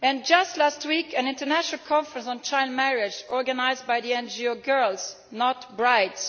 Just last week an international conference on child marriage was organised by the NGO Girls Not Brides.